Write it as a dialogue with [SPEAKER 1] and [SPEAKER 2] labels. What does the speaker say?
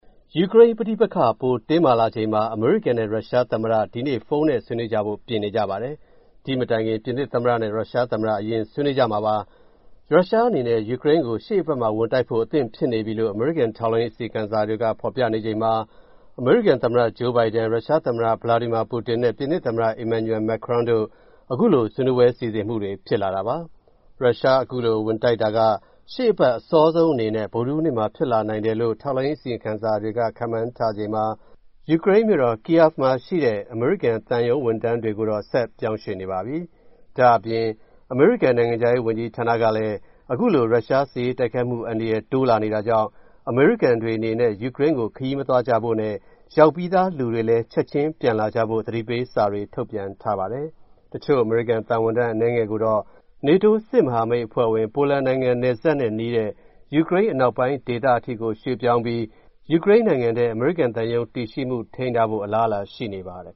[SPEAKER 1] ယူကရိန်းပဋိပက္ခ ပိုတင်းမာလာနေချိန်မှာ အမေရိကန်နဲ့ ရုရှားသမ္မတ ဒီနေ့ ဖုန်းနဲ့ ဆွေးနွေးကြဖို့ ပြင်နေပါတယ်။ ဒီ့မတိုင်ခင် ပြင်သစ်သမ္မတနဲ့ ရုရှားသမ္မတ အရင်ဆွေးနွေးကြမှာပါ။ ရုရှားအနေနဲ့ ယူကရိန်းကို ရှေ့အပတ်မှာ ဝင်တိုက်ဖို့ အသင့်ဖြစ်နေပြီလို့ အမေရိကန် ထောက်လှမ်းရေး အစီရင်ခံစာတွေက ဖော်ပြနေချိန်မှာ အမေရိကန်သမ္မတ Joe Biden၊ ရုရှားသမ္မတ Putin နဲ့ ပြင်သစ်သမ္မတ Emmanuel Macron တို့ အခုဆွေးနွေးပွဲ စီစဉ်မှုတွေ ဖြစ်လာတာပါ။ အခုလို ရုရှား ဝင်တိုက်တာက ရှေ့အပတ် အစောဆုံးအနေနဲ့ ဗုဒ္ဓဟူးနေ့မှာ ဖြစ်လာနိုင်တယ်လို့လည်း ထောက်လှမ်းရေး အစီရင်ခံစာတွေက ခန့်မှန်းထားချိန်မှာ ယူကရိန်းမြို့တော် Kyiv မှာရှိတဲ့ အမေရိကန်သံရုံး ဝန်ထမ်းတွေကိုတော့ ဆက်ပြောင်းရွှေ့နေပါပြီ။ ဒါ့အပြင် အမေရိကန် နိုင်ငံခြားရေး ဝန်ကြီးဌာနကလည်း အခုလို ရုရှားစစ်ရေးတိုက်ခိုက်မှု အန္တရာယ် တိုးလာနေတာကြောင့် အမေရိကန်တွေအနေနဲ့ ယူကရိန်းကို ခရီးမသွားကြဖို့နဲ့ ရောက်ပြီးသားလူတွေလည်း ချက်ချင်းပြန်လာဖို့ သတိပေးစာတွေ ထုတ်ပြန်ထားပါတယ်။ တချို့ အမေရိကန်သံဝန်ထမ်း အနည်းငယ်ကိုတော့ နေတိုးစစ်မဟာမိတ်အဖွဲ့ဝင် ပိုလန်နိုင်ငံနယ်စပ်နဲ့ နီးတဲ့ ယူကရိန်းအနောက်ပိုင်း ဒေသအထိကို ရွှေ့ပြောင်းပြီး ယူကရိန်းနိုင်ငံထဲ အမေရိကန်သံရုံး တည်ရှိမှု ထိန်းထားဖို့ အလားအလာ ရှိနေပါတယ်